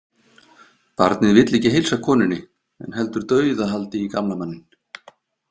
Barnið vill ekki heilsa konunni en heldur dauðahaldi í gamla manninn.